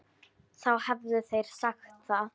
Þá hefðu þeir sagt það.